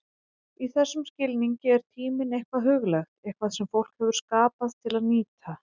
Í þessum skilningi er tíminn eitthvað huglægt, eitthvað sem fólk hefur skapað til að nýta.